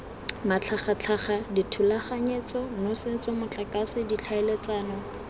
matlhagatlhaga dithulaganyetso nosetso motlakase ditlhaeletsano